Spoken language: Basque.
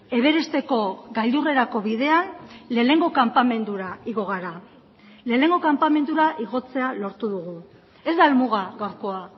everesteko gailurrerako bidean lehenengo kanpamendura igo gara lehenengo kanpamendura igotzea lortu dugu ez da helmuga gaurkoa